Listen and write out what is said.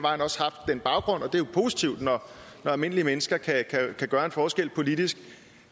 positivt når almindelige mennesker kan gøre en forskel politisk